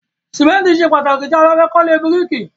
Ṣìmẹ́ntì ṣe pàtàkì tí a bá fẹ́ kọ́ ilé bíríìkì.